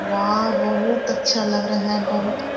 वा बहुत अच्छा लग रहा है बहुत-- .